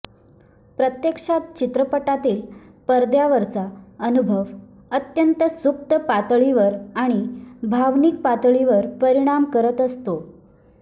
प्रत्यक्षात चित्रपटातील पडद्यावरचा अनुभव अत्यंत सुप्त पातळीवर आणि भावनिक पातळीवर परिणाम करत असतो